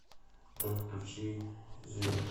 джой включи зиверт